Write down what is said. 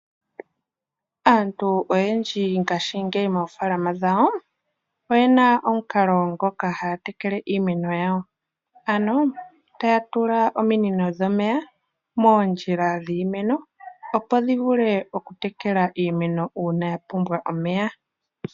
Aantu oyendji ngaashingeyi moofaalama dhawo, oye na omukalo ngoka haya tekele iimeno yawo. Ohaya tula ominino dhomeya moondjila dhiimeno, opo dhi vule okutekela iimeno uuna ya pumbwa omeya.